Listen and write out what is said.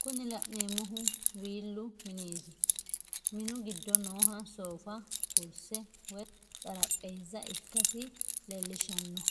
Kuni la'neemohu wiillu mineetti, minu gido nooha soofa, kurise woyi xarapheezza ikkasi leelishanno